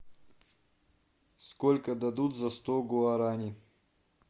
сколько дадут за сто гуарани